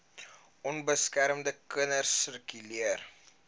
onbeskermde kinders sirkuleer